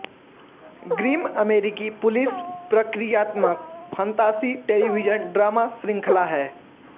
Grimm अमेरिकी police प्रक्रियात्मक फंतासी टेलिविज़न ड्रामा शृंखला है